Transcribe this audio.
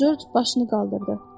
Corc başını qaldırdı.